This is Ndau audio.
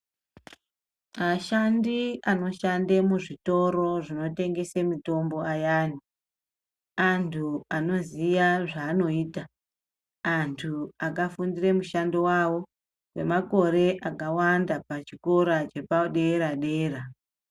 Ashandi anoshande muzvitoro zvinotengese mutombo ayani, antu anoziya zvaanoita, antu akafundire mushando wawo, kwemakore akawanda pchikora chepadera-dera.